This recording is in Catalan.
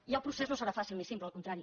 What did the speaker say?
i el procés no serà fàcil ni simple al contrari